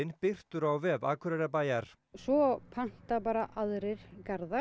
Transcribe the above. birtur á vef Akureyrarbæjar svo panta bara aðrir